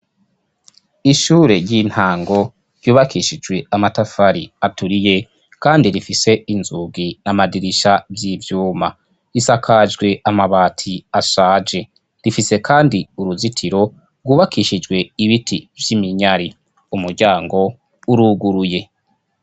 Ishure ry'intango ryubakishijwe amatafari aturiye kandi rifise inzugi n'amadirisha vy'ivyuma. Risakajwe amabati ashaje, rifise kandi uruzitiro rwubakishijwe ibiti vy'iminyari. Umuryango uruguruye.